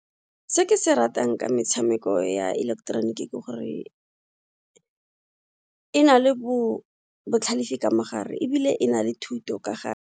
Se ke se ratang ka metshameko ya ileketeroniki ke gore e na le botlhalefi ka mogare ebile e na le thuto ka gare.